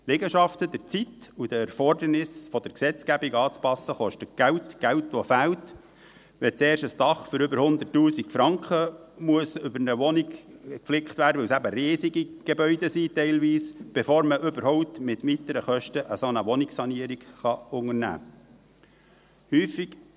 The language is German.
Die Liegenschaften, der Zeit und den Erfordernissen der Gesetzgebung anzupassen kostet Geld, Geld, das fehlt, wenn zuerst ein Dach über einer Wohnung für über 100’000 Franken geflickt werden muss – weil es teilweise eben riesige Gebäude sind –, bevor man überhaupt mit weiteren Kosten eine solche Wohnungssanierung unternehmen kann.